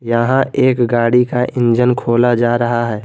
यहां एक गाड़ी का इंजन खोला जा रहा है।